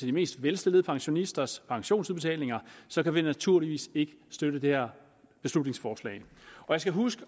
de mest velstillede pensionisters pensionsudbetalinger så kan vi naturligvis ikke støtte det her beslutningsforslag jeg skal huske